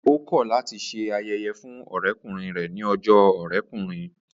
Ó kọ̀ láti se ayẹyẹ fún ọ̀rẹ́kùnrin rẹ̀ ní ọjọ́ ọ̀rẹ́kùnrin